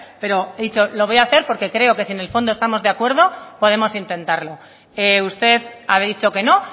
pero he dicho lo voy a hacer porque creo que si en el fondo estamos de acuerdo podemos intentarlo usted ha dicho que no